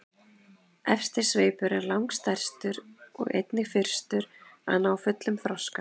Efsti sveipur er langstærstur og einnig fyrstur að ná fullum þroska.